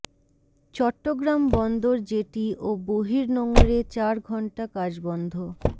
চট্টগ্রাম বন্দর জেটি ও বহির্নোঙরে চার ঘণ্টা কাজ বন্ধ